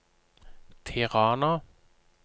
Tirana